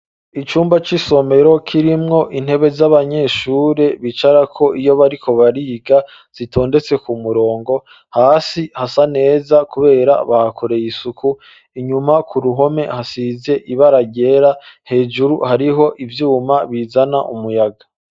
Icumba c'isomero, kirimwo intebe z'abanyeshure, bicarako, iyo bariko bariga, zitondetse ku murongo; hasi hasa neza, kubera bahakoreye isuku; inyuma ku ruhome, hasize ibara ryera, hejuru hariho ivyuma, bizana umuyaga.